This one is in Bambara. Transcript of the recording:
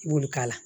I b'olu k'a la